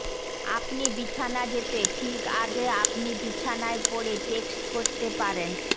আপনি বিছানা যেতে ঠিক আগে আপনি বিছানায় পড়ে টেক্সট করতে পারেন